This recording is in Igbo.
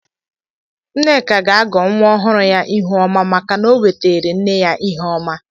Nneka ga-agọ nwa ọhụrụ ya ihuọma maka na o weteere nne ya Iheọma.